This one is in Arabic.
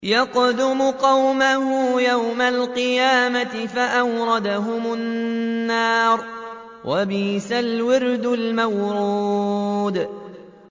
يَقْدُمُ قَوْمَهُ يَوْمَ الْقِيَامَةِ فَأَوْرَدَهُمُ النَّارَ ۖ وَبِئْسَ الْوِرْدُ الْمَوْرُودُ